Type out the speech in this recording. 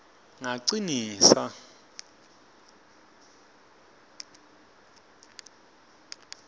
ngacinisa